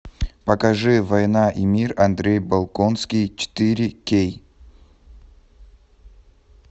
покажи война и мир андрей болконский четыре кей